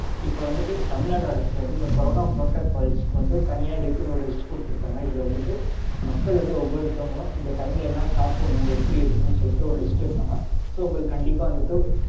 இப்போ வந்துட்டு தமிழ்னாடு அரசு வந்து இந்த கொரோன protocols க்கு வந்து தனியா இதுக்குனு ஒரு list கொடுத்திருக்காங்க. இதுல வந்துட்டு மக்கள் வந்து ஒவ்வொருத்தவங்களும் இந்த time ல என்ன சாப்பிடனும் எப்படி இருக்கனும்னு சொல்லிட்டு ஒரு list இருக்குங்க. so உங்களுக்கு கண்டிப்பா வந்துட்டு